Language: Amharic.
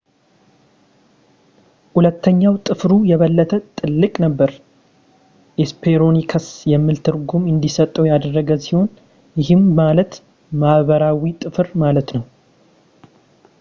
ሁለተኛው ጥፍሩ የበለጠ ትልቅ ነበር ሄስፐሮኒከስ የሚል ትርጉም እንዲሰጠው ያደረገ ሲሆን ይህም ማለት ምዕራባዊ ጥፍር ማለት ነው